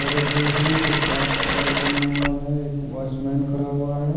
खड़े हुए हैं जो पार्क साइड बना हुआ है एक वाच मैन खड़ा हुआ है।